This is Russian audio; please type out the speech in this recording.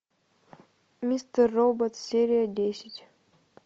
мистер робот серия десять